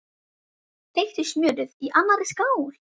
Þeyttu smjörið í annarri skál.